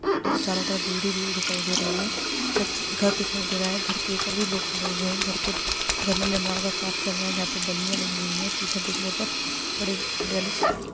चारों तरफ भीड़ ही भीड़ दिखाई दे रही है छत्- घर दिखाई दे रहा है घर के ऊपर भी लोग खड़े हैं घर-घर पर निर्माण का काम चल रहा है जहां पर बलिया लगी हुई हैं पीछे देखने पर बड़ी हरियाली छाए हुई हैं।